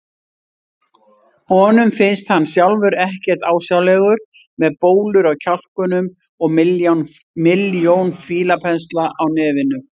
Honum finnst hann sjálfur ekkert ásjálegur með bólur á kjálkunum og milljón fílapensla á nefinu.